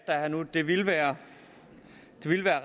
der er nu det ville være